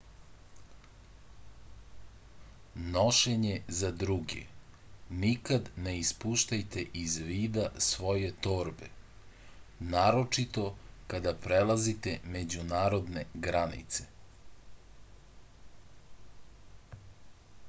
nošenje za druge nikad ne ispuštajte iz vida svoje torbe naročito kada prelazite međunarodne granice